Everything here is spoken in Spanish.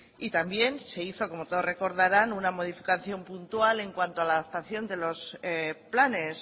y también se hizo como todos recordarán una modificación puntual en cuanto a la adaptación de los planes